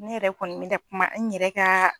Ne yɛrɛ kɔni mɛna kuma n yɛrɛ ka